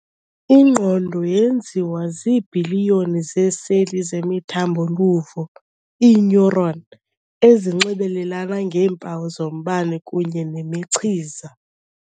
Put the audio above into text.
Ingqondo yenziwa ziibhiliyoni zeeseli zemithambo-luvo ii-neuron ezinxibelelana ngeempawu zombane kunye nemichiza.